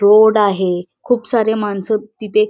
road आहे खूप सारे माणसं तिथे--